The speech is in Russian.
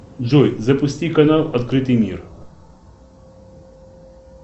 джой запусти канал открытый мир